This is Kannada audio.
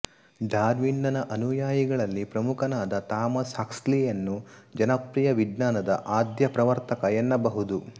ಡಾರ್ವಿನ್ನನ ಅನುಯಾಯಿಗಳಲ್ಲಿ ಪ್ರಮುಖನಾದ ಥಾಮಸ್ ಹಕ್ಸ್ಲಿಯನ್ನು ಜನಪ್ರಿಯ ವಿಜ್ಞಾನದ ಆದ್ಯಪ್ರವರ್ತಕ ಎನ್ನಬಹುದು